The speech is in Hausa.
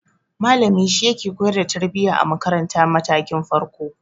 Malami shi yake koyar da tarbiya a makaratar matakin farko.